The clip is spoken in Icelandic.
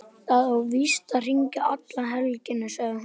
Það á víst að rigna alla helgina, sagði hún.